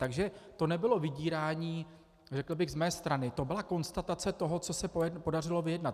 Takže to nebylo vydírání, řekl bych, z mé strany, to byla konstatace toho, co se podařilo vyjednat.